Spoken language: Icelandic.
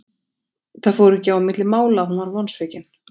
Það fór ekki á milli mála að hún var vonsvikin.